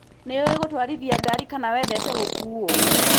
Nĩũĩ gũtwarithia ngari kana wendete gũkuo?